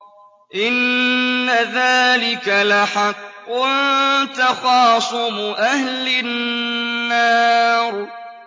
إِنَّ ذَٰلِكَ لَحَقٌّ تَخَاصُمُ أَهْلِ النَّارِ